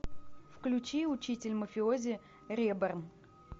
включи учитель мафиози реборн